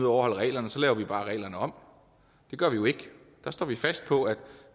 overholde reglerne så laver vi bare reglerne om det gør vi jo ikke der står vi fast på at